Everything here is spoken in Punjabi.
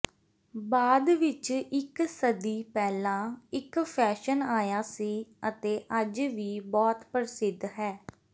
ਬਾਅਦ ਵਿਚ ਇਕ ਸਦੀ ਪਹਿਲਾਂ ਇਕ ਫੈਸ਼ਨ ਆਇਆ ਸੀ ਅਤੇ ਅੱਜ ਵੀ ਬਹੁਤ ਪ੍ਰਸਿੱਧ ਹੈ